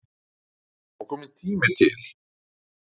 Það var kominn tími til.